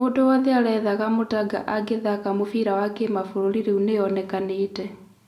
Mũndũ wothe arethaga Mũtaanga angĩthaka mũbira wa kĩmabũrũri rĩu nĩonekanĩĩte.